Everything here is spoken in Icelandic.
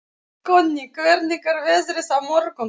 Konni, hvernig er veðrið á morgun?